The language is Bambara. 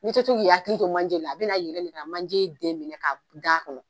N'i to k'i hakili to manje la a bɛna yɛlɛn ka na manjɛ den minɛ ka da a kɔnɔ